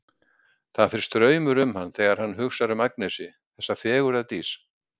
Það fer straumur um hann þegar hann hugsar um Agnesi, þessa fegurðardís.